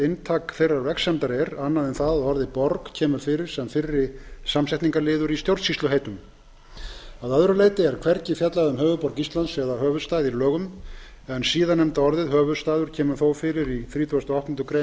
inntak þeirrar vegsemdar er annað en það að orðið borg kemur fyrir sem fyrri samsetningarliður í stjórnsýsluheitum að öðru leyti er hvergi fjallað um höfuðborg íslands eða höfuðstað í lögum en síðarnefnda orðið kemur þó fyrir í þrítugasta og áttundu grein